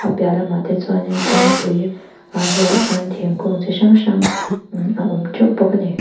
a piah lamah te chuanin kawngpui a bulah chuan thingkung chi hrang hrang a awm teuh bawk ani.